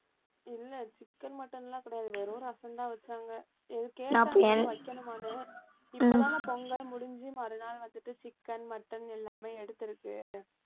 இல்லை chicken, mutton எல்லாம் கிடையாது வெறும் ரசம்தான் வச்சாங்க எது வைக்கணுமான்னு, இப்ப தானே பொங்கல் முடிஞ்சு மறுநாள் வந்துட்டு chicken, mutton எல்லாமே எடுத்திருக்கு